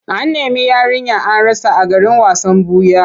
An nemi yarinya an rasa a garin wasan ɓuya.